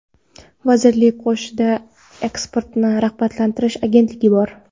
Vazirlik qoshida eksportni rag‘batlantirish agentligi bor.